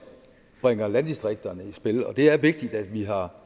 bringer landdistrikterne i spil og det er vigtigt at vi har